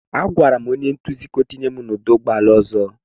Agwara m onye nduzi ka ọ tụnye m n'ọdụ ụgbọ ala ọzọ.